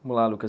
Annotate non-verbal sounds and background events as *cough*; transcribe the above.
Vamos lá. *unintelligible*